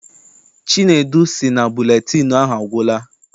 Chinedu sị na buletịịnụ ahụ agwụla.